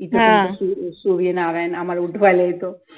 इथे सूर्यनारायण आम्हाला उठवायला येतो